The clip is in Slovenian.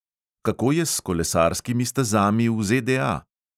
Kako je s kolesarskimi stezami v ZDA?